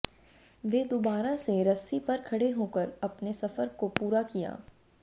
वे दोबारा से रस्सी पर खड़े होकर अपने सफर को पूरा किया